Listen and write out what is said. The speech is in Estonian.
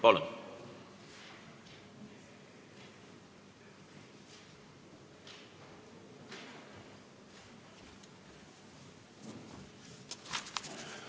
Palun!